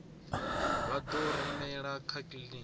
vha ḓo rumelwa kha kiḽiniki